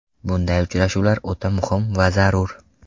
Bunday uchrashuv o‘ta muhim va zarur.